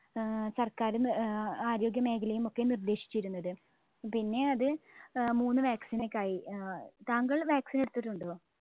ഏർ സർക്കാര് ന് ഏർ ആരോഗ്യ മേഖലയുമൊക്കെ നിർദേശിച്ചിരുന്നത്. പിന്നെ അത് ഏർ മൂന്ന് vaccine ഒക്കെ ആയി ആഹ് താങ്കൾ vaccine എടുത്തുട്ടുണ്ടോ